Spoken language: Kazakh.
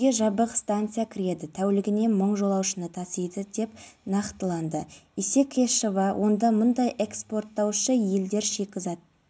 құзырлы орган өкілдері өрттің не себепті шыққанын анықтайтын болады тексеру шараларына өңірдің еңбек инспекциясы да